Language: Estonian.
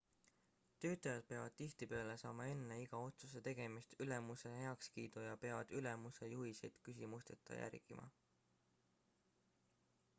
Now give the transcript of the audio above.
töötajad peavad tihtipeale saama enne iga otsuse tegemist ülemuse heakskiidu ja peavad ülemuse juhiseid küsimusteta järgima